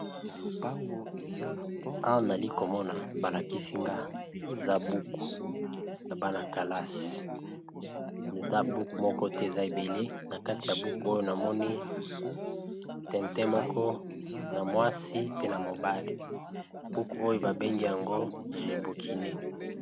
Awa, nali komona ba lakisi nga, eza buku ya bana kalasi. Eza buku moko te, eza ebele. Na kati ya buku oyo, na moni tintin moko na mwasi pe na mobali. Buku oyo, ba bengi yango je bukine.